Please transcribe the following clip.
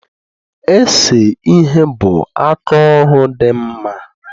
Ese ihe bụ aka ọrụ dị nma